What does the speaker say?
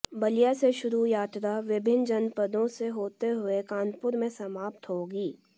बलिया से शुरू यात्रा विभिन्न जनपदों से होते हुए कानपुर में समाप्त होगी